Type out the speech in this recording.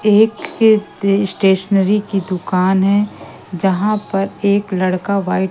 एक के स्टेशनरी की दुकान है जहां पर एक लड़का व्हाइट --